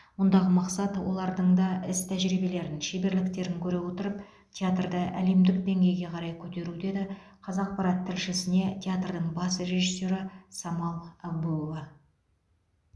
мұндағы мақсат олардың да іс тәжірибелерін шеберліктерін көре отырып театрды әлемдік деңгейге қарай көтеру деді қазақпарат тілшісіне театрдың бас режиссері самал әбуова